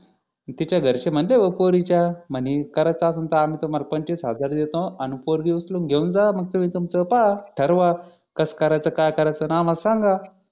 तिच्या घरचे म्हणते भो पोरीच्या म्हणे करायचं असेल तर आम्ही तुम्हाला पंचवीस हजार रुपये देतो आणि पोरगी उचलून घेऊन जावा तुम्ही तूम्च पहा ठरवा कस करायचं काय करायच आणि आम्हा ला सांगा